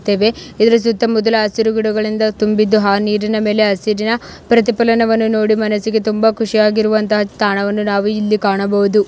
ತ್ತೇವೆ ಇದರ ಜೊತೆ ಮೊದಲು ಹಸಿರು ಗಿಡಗಳಿಂದ ತುಂಬಿದ್ದು ಆ ನೀರಿನ ಮೇಲೆ ಹಸಿರಿನ ಪ್ರತಿಪಲನವನ್ನು ನೋಡಿ ಮನಸಿಗೆ ತುಂಬಾ ಕುಶಿ ಹಾಗಿರುವಂತ ತಾಣವನ್ನು ನಾವು ಇಲ್ಲಿ ಕಾಣಬಹುದು.